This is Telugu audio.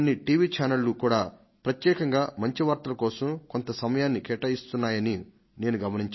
ఛానల్స్ మంచి వార్తల కోసం కొంత సమయాన్ని కేటాయిస్తున్నాయని నేను గమనించాను